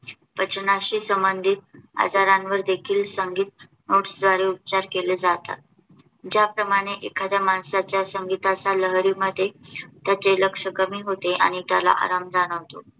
पचनाशी संबंधित आजारांवर देखील संगीत NOTES द्वारे उपचार केले जातात. ज्याप्रमाणे एखाद्या माणसाच्या संगीताच्या लहरी मध्ये त्याचे लक्ष कमी होते आणि त्याला आराम जाणवतो.